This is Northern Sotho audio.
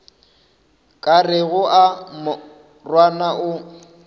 ka rego a morwana o